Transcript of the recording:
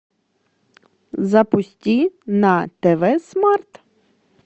запусти на тв смарт